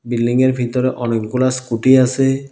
বিল্ডিংয়ের ভিতরে অনেকগুলা স্কুটি আসে।